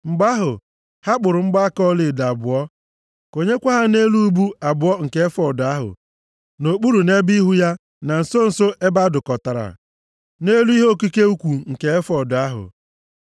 Mgbe ahụ, ha kpụrụ mgbaaka ọlaedo abụọ ọzọ, konyekwa ha nʼelu ubu abụọ nke efọọd ahụ, nʼokpuru nʼebe ihu ya, na nso nso ebe a dụkọtara, nʼelu ihe okike ukwu nke efọọd ahụ.